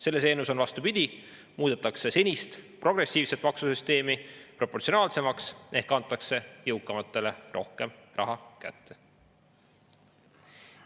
Selles eelnõus on vastupidi: muudetakse senist progressiivset maksusüsteemi proportsionaalsemaks ehk antakse jõukamatele rohkem raha kätte.